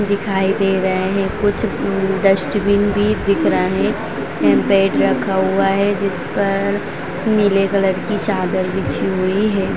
दिखाई दे रहे है कूछ डस्टविन भी दिख रहा है यहां बेड रखा हुआ है जिस पर नीला कलर की चादर बिछी हुई है।